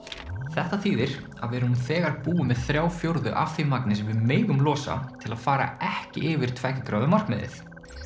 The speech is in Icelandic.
þetta þýðir að við erum nú þegar búin með þrjá fjórðu af því magni sem við megum losa til að fara ekki yfir tveggja gráðu markmiðið